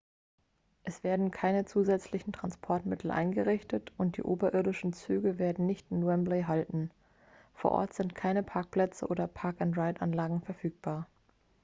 es werden keine zusätzlichen transportmittel eingerichtet und die oberirdischen züge werden nicht in wembley halten vor ort sind keine parkplätze oder park-and-ride-anlagen verfügbar